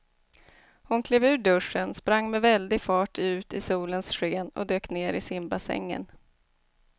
Hon klev ur duschen, sprang med väldig fart ut i solens sken och dök ner i simbassängen.